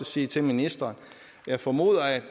sige til ministeren jeg formoder at